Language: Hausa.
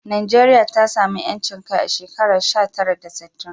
Najeriya ta samu 'yancin kai a shekara sha tara da sittin